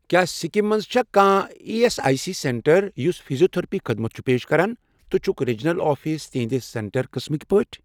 کیٛاہ سِکِم مَنٛز چھا کانٛہہ E S I C centre یُس فیٖزیوتٔھرپی خدمت چھُ پیش کران تہٕ چھُکھ ریٖجنَل آفِس تِہنٛدِ سینٹر قٕسمٕک پٲٹھۍ؟